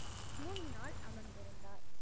முன்னால் அமர்ந்திருந்தார்